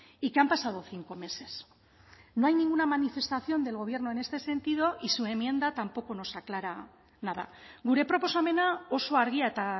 y que han pasado cinco meses no hay ninguna manifestación del gobierno en este sentido y su enmienda tampoco nos aclara nada gure proposamena oso argia eta